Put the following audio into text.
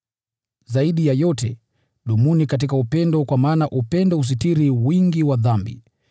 Zaidi ya yote, dumuni katika upendo kwa maana upendo husitiri wingi wa dhambi.